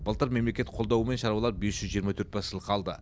былтыр мемлекет қолдауымен шаруалар бес жүз жиырма төрт бас жылқы алды